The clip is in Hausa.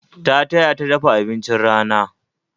Ta taya ta dafa abincin rana